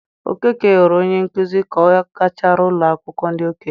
Okeke ghọrọ onye nkuzi ka ọ gachara ụlọ akwụkwọ ndị okenye.